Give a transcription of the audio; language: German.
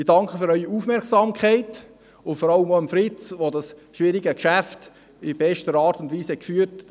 Ich danke für Ihre Aufmerksamkeit und vor allem auch Fritz Ruchti, der dieses schwierige Geschäft in bester Art und Weise geführt hat.